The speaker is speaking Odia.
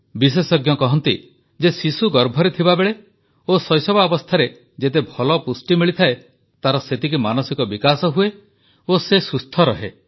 ବିଶେଷଜ୍ଞ କହନ୍ତି ଯେ ଶିଶୁ ଗର୍ଭରେ ଥିବାବେଳେ ଓ ଶୈଶବାବସ୍ଥାରେ ଯେତେ ଭଲ ପୁଷ୍ଟି ମିଳିଥାଏ ତାର ସେତିକି ମାନସିକ ବିକାଶ ହୁଏ ଓ ସେ ସୁସ୍ଥ ରହେ